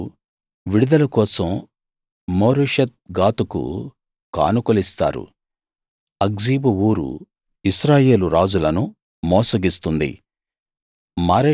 మీరు విడుదల కోసం మోరెషెత్ గాతుకు కానుకలిస్తారు అక్జీబు ఊరు ఇశ్రాయేలు రాజులను మోసగిస్తుంది